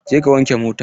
Je ka wanke motan!